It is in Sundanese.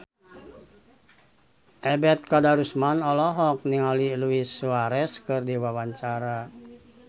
Ebet Kadarusman olohok ningali Luis Suarez keur diwawancara